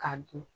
Ka dun